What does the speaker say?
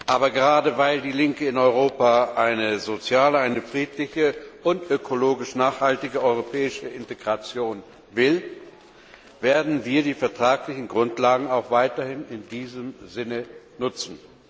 Aber gerade weil die Linke in Europa eine soziale, eine friedliche und ökologisch nachhaltige europäische Integration will, werden wir die vertraglichen Grundlagen auch weiterhin in diesem Sinne nutzen.